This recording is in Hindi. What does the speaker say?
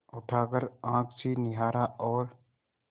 उठाकर आँख से निहारा और